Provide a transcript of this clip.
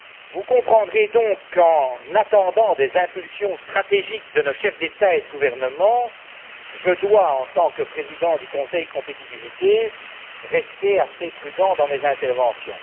Vous comprendrez donc qu'en attendant des impulsions stratégiques de nos chefs d'État et de gouvernement, je dois, en tant que président du Conseil Compétitivité, rester assez prudent dans mes interventions.